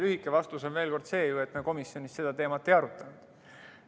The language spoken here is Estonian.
Lühike vastus on see, et komisjonis me seda teemat ei arutanud.